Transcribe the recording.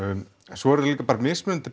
svo eru líka bara mismunandi